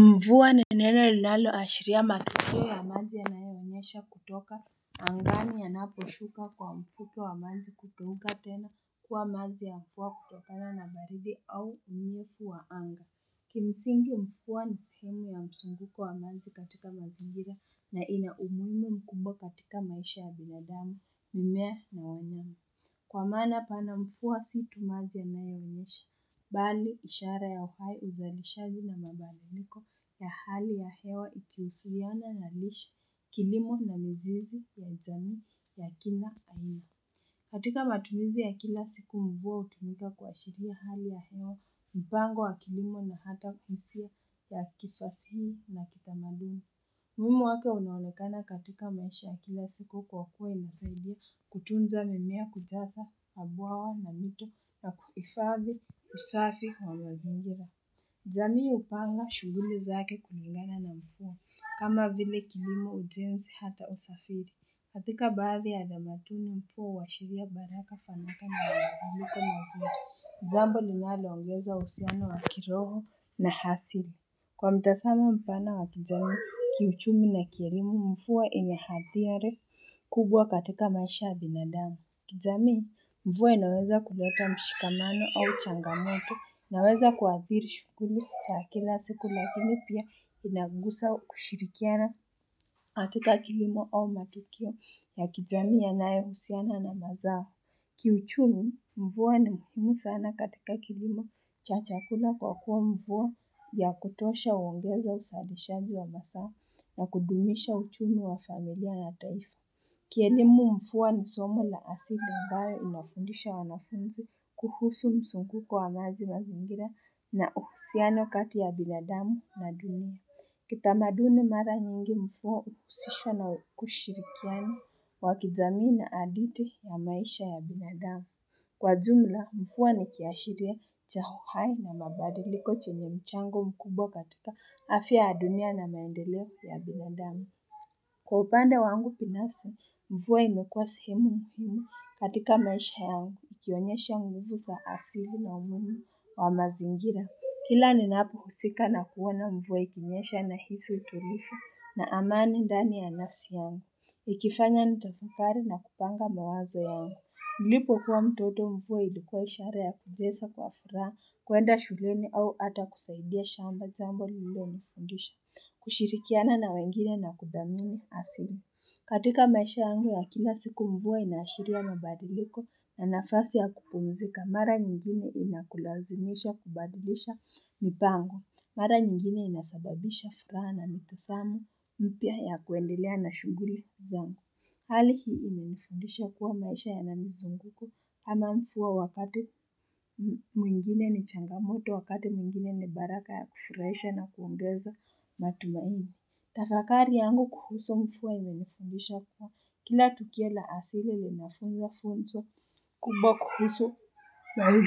Mvua ni neno linalo ashiria matokeo ya maji yanayonyesha kutoka angani yanaposhuka kwa mfuke wa maji kugeuka tena kuwa maji ya mvua kutokana na baridi au unyevu wa anga Kimsingi mvua ni sehemu ya mzunguko wa maji katika mazingira na ina umuhimu mkubwa katika maisha ya binadamu mimea na wanyama Kwa maana pana mvua si tu maji yanayonyesha Bali ishara ya uhai uzalishaji na mabadiliko ya hali ya hewa ikihusiana na lishe kilimo na mzizi ya jamii ya kila aina. Katika matumizi ya kila siku mvua hutumika kuashiria hali ya hewa mpango wa kilimo na hata hisia ya kifasihi na kitamaduni. Umuhimu wake unaonekana katika maisha ya kila siku kwa kuwa inasaidia kutunza mimea kujaza mabwawa na mito na kuhifadhi usafi wa mazingira. Jamii upanga shughuli zake kulingana na mvua kama vile kilimo ujenzi hata usafiri. Katika baadhi utamaduni mvua huashiria baraka fanaka na mabadiliko mazingira. Jambo linalo ongeza uhisiano wa kiroho na asili. Kiuchumi na kielimu mvua ina hadhari kubwa katika maisha ya bindamu. Kijamii mvua inaweza kuleta mshikamano au changamoto inaweza kuathiri shughuli za kila siku lakini pia inagusa kushirikiana katika kilimo au matukio ya kijamii yanayohusiana na mazao. Kiuchumi mvua ni muhimu sana katika kilimo cha chakula kwa kuwa mvua ya kutosha huongeza uzalishaji wa masaa na kudumisha uchumi wa familia na taifa. Kielimu mvua ni somo la asili ambayo inafundisha wanafunzi kuhusu mzunguko wa maji mazingira na uhusiano kati ya binadamu na dunia. Kitamaduni mara nyingi mvua huhusishwa na kushirikiana wakijamii na hadithi ya maisha ya binadamu. Kwa jumla, mvua ni kiashiria cha uhai na mabadiliko chenye mchango mkubwa katika afya ya dunia na maendeleo ya binadamu. Kwa upande wangu binafsi, mvua imekuwa sehemu muhimu katika maisha yangu. Ikionyesha nguvu za asili na umhimu wa mazingira. Kila ninapohusika na kuona mvua ikinyesha na hisi utulivu na amani ndani ya nafsi yangu. Ikifanya nitafakari na kupanga mawazo yangu. Nilipo kuwa mtoto mvua ilikuwa ishara ya kucheza kwa furaha, kuenda shuleni au ata kusaidia shamba jambo lilo nifundisha, kushirikiana na wengine na kuthamini asili. Katika maisha yangu ya kila siku mvua inashiria mabadiliko na nafasi ya kupumzika mara nyingine inakulazimisha kubadilisha mipango. Mara nyingine inasababisha furaha na mtazamo, mpya ya kuendelea na shughuli zangu. Hali hii imenifundisha kuwa maisha yana mizunguko kama mvua wakati mwingine ni changamoto, wakati mwingine ni baraka ya kufurahisha na kuongeza matumaini. Tafakari yangu kuhusu mvua imenifundisha kuwa kila tukio la asili linafunza funzo kubwa kuhusu na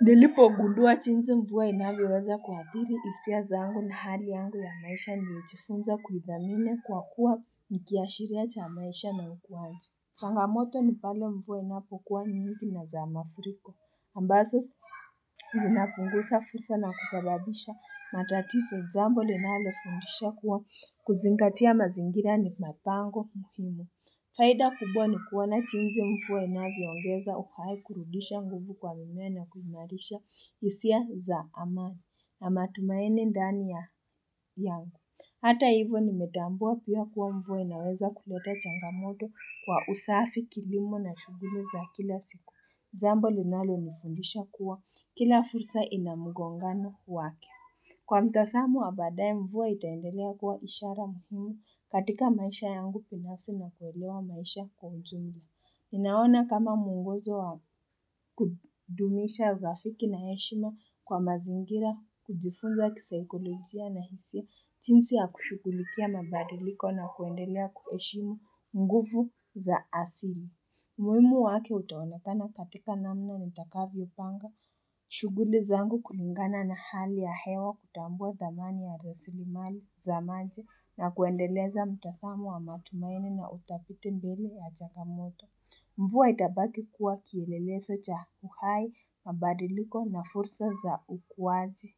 Nilipogundua jinsi mvua inavyoweza kuathiri hisia zangu na hali yangu ya maisha nimejifunza kuithamini kwa kuwa nikiashiria cha maisha na ukuaji Changamoto ni pale mvua inapokuwa nyingi na za mafuriko ambazo Zinapunguza fursa na kusababisha matatizo jambo linalofundisha kuwa kuzingatia mazingira ni mapango muhimu. Faida kubwa ni kuona jinsi mvua inavyongeza uhai kurudisha nguvu kwa mimea na kuimarisha hisia za amani na matumaini ndani yangu. Hata hivyo nimetambua pia kuwa mvua inaweza kuleta changamoto kwa usafi kilimo na shughuli za kila siku. Jambo linalonifundisha kuwa kila fursa ina mgongano wake. Kwa mtazamo ya baadaye mvua itaendelea kuwa ishara muhimu katika maisha yangu binafsi na kuelewa maisha kwa ujumla. Ninaona kama mwongozo wa kudumisha urafiki na heshima kwa mazingira kujifunza kisaikolojia na hisia jinsi ya kushughulikia mabadiliko na kuendelea kuheshimu nguvu za asili. Muhimu waki utaonekana katika namna nitakavyopanga, shughuli zangu kulingana na hali ya hewa kutambua thamani ya resilimali za maji na kuendeleza mtazamo wa matumaini na utafiti mbele ya changamoto. Mvua itabaki kuwa kielelezo cha uhai mabadiliko na fursa za ukuaji.